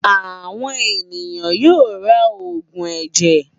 Àwọn ènìyàn yóò ra òògùn ẹ̀jẹ̀.